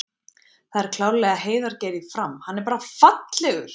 Það er klárlega Heiðar Geir í Fram, hann er bara fallegur!!